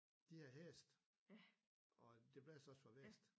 De havde hest og det blæste også fra vest